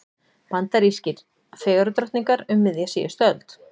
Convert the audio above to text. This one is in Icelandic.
Bandarískar fegurðardrottningar um miðja síðustu öld.